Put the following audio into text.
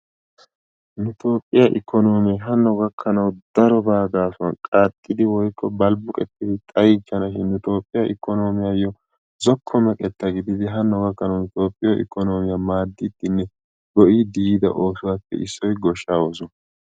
Nu toophphiyaa ikonoomee darobaa gaasuwaan qaaxxidi woykko balbuqqetidi xaayichchanashin. Nu tophphee ikonomeeyoo zokko meqeta gididi hano gakkanawu toophiyoo ikonomiyaa maaddidinne go"iidi yiida oossuwaappe issoy goohshaa oosuwaa.